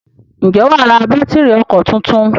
Ǹjẹ́ wà á ra bátìrì ọkọ̀ tuntun?